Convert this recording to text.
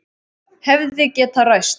Hefði getað ræst.